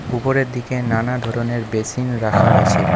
উপরের দিকে নানা ধরনের বেসিন রাখা আছে।